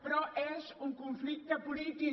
però és un conflicte polític